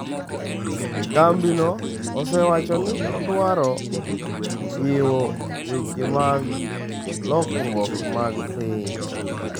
Kambino osewacho ni odwaro jiwo weche mag lokruok mag piny.